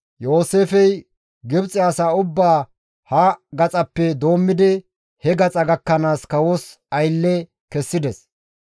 Yooseefey Gibxe asa ubbaa ha gaxappe doommidi he gaxa gakkanaas kawos aylle kessides.